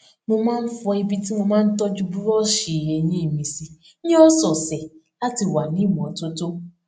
mo máa n fọ ibi tí mò n tọju búrọọṣì eyín mi sí ní ọsọọsẹ láti wà ní ìmọtótó